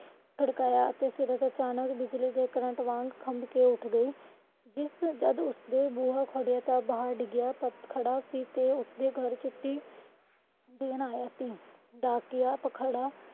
ਖੜਕਾਇਆ ਅਤੇ ਫਿਰ ਅਚਾਨਕ ਬਿਜਲੀ ਦੇ current ਵਾਂਗ ਕੰਬ ਕੇ ਉੱਠ ਗਈ ਜਿਸ ਜੱਦ ਉਸ ਦਾ ਬੁਆ ਖੜਿਆ ਦਹਾੜ ਡਿਗਿਆ ਖੜ੍ਹਾ ਸੀ ਤੇ ਉਸ ਦੇ ਘਰ ਚਿੱਠੀ ਦੇਣ ਆਇਆ ਸੀ ਡਾਕੀਆ ਤੇ ਖੜਾ